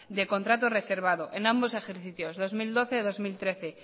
de contrato reservado en ambos ejercicios dos mil doce dos mil trece